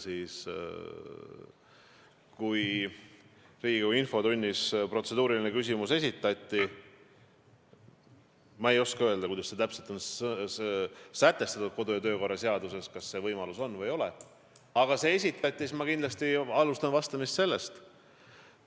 Riigikogu infotunnis esitati protseduuriline küsimus, ma ei oska öelda, kuidas on täpselt sätestatud kodu- ja töökorra seaduses, kas see võimalus on olemas või ei ole, aga see küsimus esitati ja ma alustan vastamist sellest.